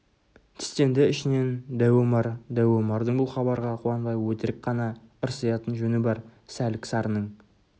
тістенді ішінен дәу омар дәу омардың бұл хабарға қуанбай өтірік қана ырсиятын жөні бар сәлік-сарының